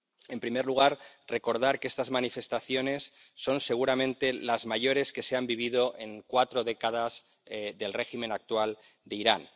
En primer lugar, recordar que estas manifestaciones son seguramente las mayores que se han vivido en cuatro décadas del régimen actual de Irán.